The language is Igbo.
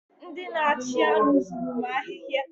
Ndị na-achị anụ zuru m ahịhịa.